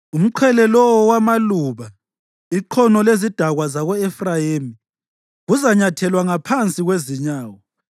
Umqhele lowo wamaluba, iqhono lezidakwa zako-Efrayimi kuzanyathelwa ngaphansi kwezinyawo.